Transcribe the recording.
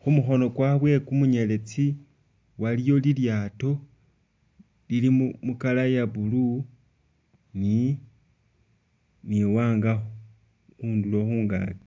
Khu mukhono kwabwe kumunyeletsi waliyo lilyaato lili mu mu colour ya blue ni, ni iwanga khundulo khungaki.